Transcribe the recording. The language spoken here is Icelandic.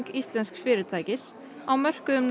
íslensks fyrirtækis á mörkuðum